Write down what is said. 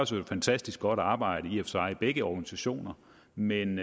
sig et fantastisk godt arbejde i begge organisationer men